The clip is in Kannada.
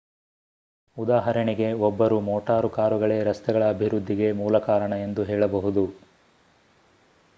ಉದಾಹರಣೆಗೆ ಒಬ್ಬರು ಮೋಟಾರು ಕಾರುಗಳೇ ರಸ್ತೆಗಳ ಅಭಿವೃದ್ಧಿಗೆ ಮೂಲ ಕಾರಣ ಎಂದು ಹೇಳಬಹುದು